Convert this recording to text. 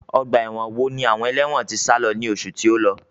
Ọgbà ẹ̀wọ̀n wo ni àwọn ẹlẹ́wọ̀n tí sálo ní oṣù tí ó lọ?